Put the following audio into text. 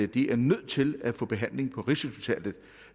de er nødt til at få behandling på rigshospitalet